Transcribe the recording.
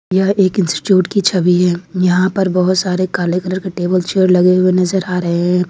यह एक इंस्टीट्यूट की छवि है यहां पर बहुत सारे काले कलर का टेबल चेयर लगे हुए नजर आ रहे हैं।